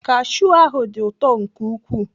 Kashiu ahụ dị ụtọ nke ukwuu.